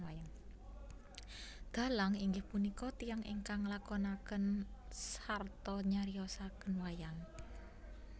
Dhalang inggih punika tiyang ingkang nglakonaken sarta nyariosaken wayang